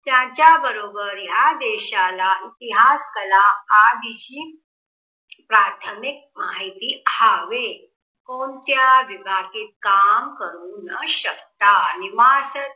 त्यांच्या बरोबर ह्या देशाला इतिहास कला ह्या विषयी प्राथमिक माहिती व्हावी. कोणत्या विभागात काम करू न शकता? नि मास